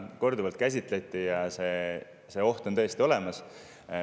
Seda korduvalt käsitleti ja see oht on tõesti olemas.